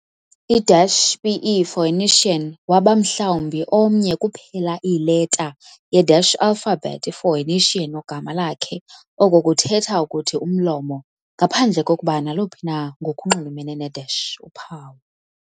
I - "pe" phoenician waba mhlawumbi omnye kuphela iileta ye - alphabet i-phoenician, ogama lakhe, oko kuthetha ukuthi "umlomo", ngaphandle kokuba naluphi na ngokunxulumene ne - uphawu.